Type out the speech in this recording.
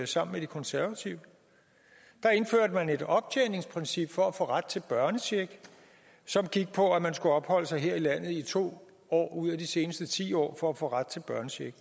sammen med de konservative der indførte man et optjeningsprincip for at få ret til børnecheck som gik ud på at man skulle opholde sig her i landet i to år ud af de seneste ti år for at få ret til børnecheck